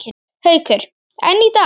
Haukur: En í dag?